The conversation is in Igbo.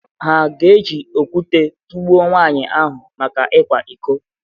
Hà ga-eji okwute tụgbuo nwaanyị ahụ maka ịkwa iko.